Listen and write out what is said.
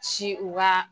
Ci u ka